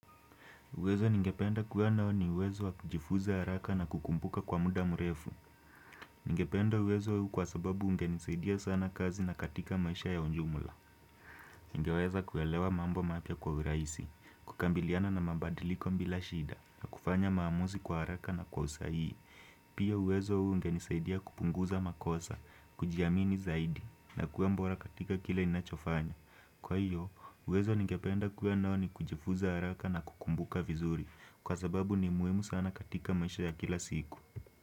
Uwezo ningependa kuwa nao ni uwezo wa kujifuza haraka na kukumbuka kwa muda mrefu. Ningependa uwezo huu kwa sababu ungenisaidia sana kazi na katika maisha ya ujumla. Ningeweza kuelewa mambo mapya kwa uraisi, kukambiliana na mabadiliko mbila shida, na kufanya maamuzi kwa haraka na kwa usahii. Pia uwezo huu ungenisaidia kupunguza makosa, kujiamini zaidi, na kuwa mbora katika kile ninachofanya. Kwa hiyo, uwezo ningependa kuwa nao ni kujifuza haraka na kukumbuka vizuri Kwa sababu ni muimu sana katika maisha ya kila siku.